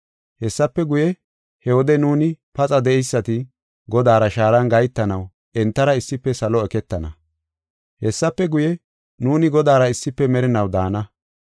Hessafe guye, he wode nuuni paxa de7eysati, Godaara shaaran gahetanaw entara issife salo eketana. Hessafe guye, nuuni Godaara issife merinaw daana.